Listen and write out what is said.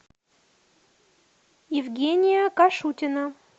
евгения кашутина